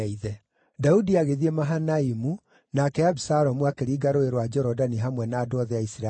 Daudi agĩthiĩ Mahanaimu, nake Abisalomu akĩringa Rũũĩ rwa Jorodani hamwe na andũ othe a Isiraeli.